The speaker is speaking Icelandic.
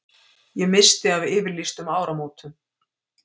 Ég missti af yfirlýstum áramótum.